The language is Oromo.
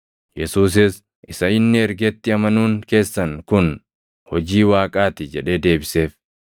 Yesuusis, “Isa inni ergetti amanuun keessan kun hojii Waaqaa ti” jedhee deebiseef.